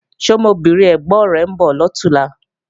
Ṣé ọmọbìnrin ẹ̀gbọ̀n rẹ̀ ń bọ̀ lọ̀túnla?